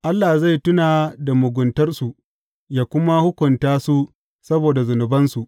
Allah zai tuna da muguntarsu yă kuma hukunta su saboda zunubansu.